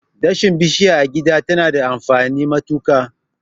Dashen bishiya a gida tana da amfani matuka.